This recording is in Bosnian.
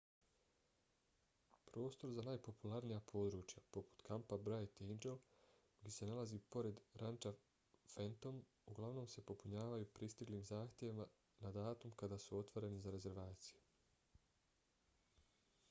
prostor za najpopularnija područja poput kampa bright angel koji se nalazi pored ranča phantom uglavnom se popunjavaju pristiglim zahtjevima na datum kada su otvoreni za rezervacije